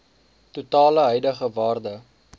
totale huidige waarde